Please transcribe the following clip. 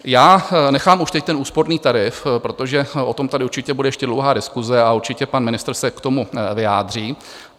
Já nechám už teď ten úsporný tarif, protože o tom tady určitě bude ještě dlouhá diskuse a určitě pan ministr se k tomu vyjádří.